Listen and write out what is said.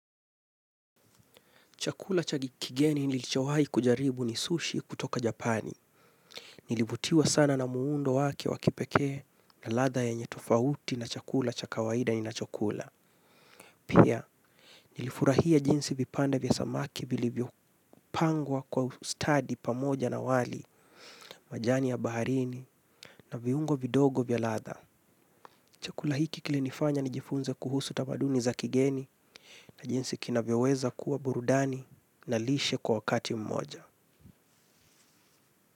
Chakula cha kigeni nilichowai kujaribu ni sushi kutoka japani. Nilivutiwa sana na muundo wake wakipekee na latha yenye tofauti na chakula cha kawaida ninachokula. Pia, nilifurahia jinsi vipande vya samaki vili vyopangwa kwa study pamoja na wali majani ya baharini na viungo vidogo vya latha. Chakula hiki kiinifanya nijifunze kuhusu tamaduni za kigeni na jinsi kinavyoweza kuwa burudani na lishe kwa wakati mmoja.